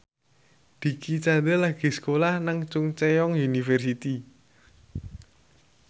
Dicky Chandra lagi sekolah nang Chungceong University